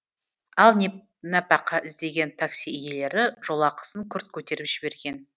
ал нәпақа іздеген такси иелері жолақысын күрт көтеріп жіберген